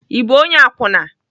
I bụ onye akwụna?